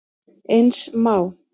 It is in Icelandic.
Eins má